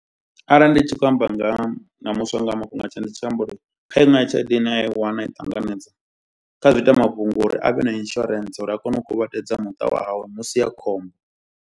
Arali ndi tshi khou amba nga ha na muswa nga mafhungo uri kha iṅwe ya tshelede ine a i wana ai ṱanganedza, kha zwiita mafhungo uri avhe na insurance uri a kone u kuvhatedza muṱa wawe musi a khombo.